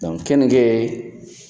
kenike